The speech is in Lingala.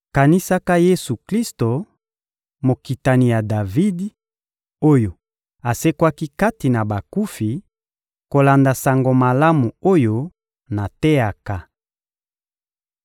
Kanisaka Yesu-Klisto, mokitani ya Davidi, oyo asekwaki kati na bakufi, kolanda Sango Malamu oyo nateyaka.